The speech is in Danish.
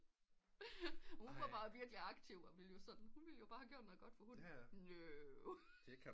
Hun var bare virkelig aktiv og ville jo sådan hun ville bare gøre noget godt for hunden no